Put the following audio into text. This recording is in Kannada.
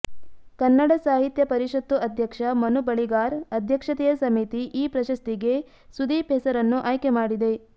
ಕನ್ನಡ ಸಾಹಿತ್ಯ ಪರಿಷತ್ತು ಅಧ್ಯಕ್ಷ ಮನು ಬಳಿಗಾರ್ ಅಧ್ಯಕ್ಷತೆಯ ಸಮಿತಿ ಈ ಪ್ರಶಸ್ತಿಗೆ ಸುದೀಪ್ ಹೆಸರನ್ನು ಆಯ್ಕೆ ಮಾಡಿದೆ